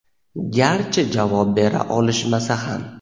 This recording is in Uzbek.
garchi javob bera olishmasa ham.